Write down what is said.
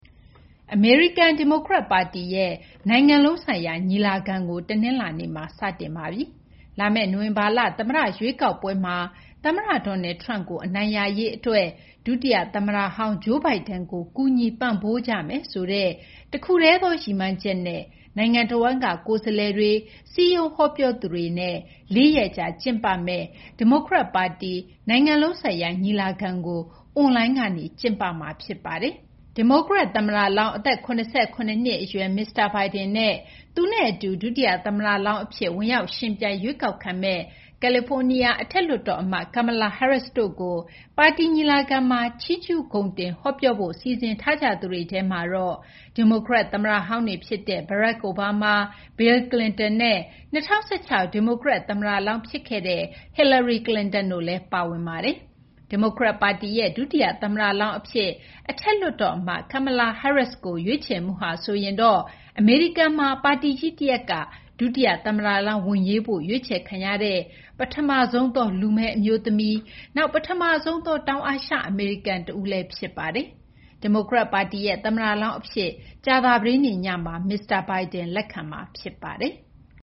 အမေရိကန် ဒီမိုကရက် ပါတီရဲ့ နိုင်ငံလုံးဆိုင်ရာ ညီလာခံကို တနလာၤနေ့မှာ စတင်ပါပြီ။ လာမယ့် နိုဝင်ဘာလ သမ္မတ ရွေးကောက်ပွဲမှာ သမ္မတ Donald Trump ကို အနိုင်ရရေး အတွက် ဒုတိယ သမ္မတဟောင်း Joe Biden ကို ကူညီပံ့ပိုးကြမယ်ဆိုတဲ့ တခုတည်းသော ရည်မှန်းချက်နဲ့ နိုင်ငံတဝန်းက ကိုယ်စားလှယ်တွေ၊ စည်းရုံးဟောပြောသူတွေနဲ့ လေးရက်ကြာ ကျင်းပမယ့် ဒီမိုကရက် ပါတီ နိုင်ငံလုံးဆိုင်ရာ ညီလာခံကို အွန်လိုင်းကနေ ကျင်းပမှာ ဖြစ်ပါတယ်။ ဒီမိုကရက် သမ္မတလောင်း အသက် ၇၇ နှစ် အရွယ် မစ္စတာ Biden နဲ့ သူနဲ့ အတူ ဒုတိယ သမ္မတလောင်း အဖြစ် ဝင်ရောက် ယှဉ်ပြိုင် ရွေးကောက်ခံမယ့် ကယ်လီဖိုးနီးယား အထက်လွှတ်တော် အမတ် Kamala Harris တို့ကို ပါတီ ညီလာခံမှာ ချီးကျူး ဂုဏ်တင် ဟောပြောဖို့ စီစဉ်ထားသူတွေထဲမှာ ဒီမိုကရက် သမ္မတဟောင်းတွေ ဖြစ်တဲ့ Barack Obama ၊ Bill Clinton နဲ့ ၂၀၁၆ ဒီမိုကရက် သမ္မတလောင်း ဖြစ်ခဲ့တဲ့ Hillary Clinton တို့လည်း ပါဝင်ပါတယ်။ ဒီမိုကရက် ပါတီရဲ့ ဒုတိယ သမ္မတလောင်း အဖြစ် အထက်လွှတ်တော် အမတ် Kamala Harris ကို ရွေးချယ်မှုဟာဆိုရင်တော့ အမေရိကန်မှာ ပါတီကြီး တရပ်က ဒုတိယ သမ္မတလောင်း ဝင်ရွေးဖို့ ရွေးချယ်ခံရတဲ့ ပထမဆုံးသော လူမည်း အမျိုးသမီး၊ နောက် ပထမဆုံးသော တောင်အာရှ အမေရိကန် တဦးလည်း ဖြစ်ပါတယ်။ ဒီမိုကရက်ပါတီရဲ့ သမ္မတလောင်း အဖြစ် ကြာသပတေးနေ့ညမှာ မစ္စတာ Biden လက်ခံမှာ ဖြစ်ပါတယ်။